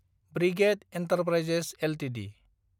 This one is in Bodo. brigade Enterprises Ltd